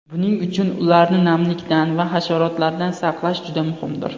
Buning uchun ularni namlikdan va hasharotlardan saqlash juda muhimdir.